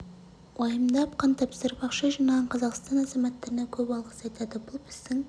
уайымдап қан тапсырып ақша жинаған қазақстан азаматтарына көп алғыс айтады бұл біздің